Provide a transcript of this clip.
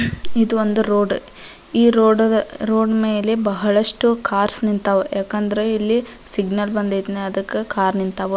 ಇದೊಂದು ರೋಡ್ ಈ ರೋಡ್ ಮೇಲೆ ಬಹಳಷ್ಟು ಕಾರ್ ನಿಂತಾವ ಯಾಕಂದ್ರೆ ಇಲ್ಲಿ ಸಿಗ್ನಲ್ ಬಂದೈತಿ ಅದಕ್ಕ ಕಾರ್ ನಿಂತಾವ.